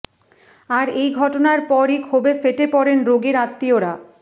আর এই ঘটনার পরই ক্ষোভে ফেটে পড়েন রোগীর আত্মীয়রা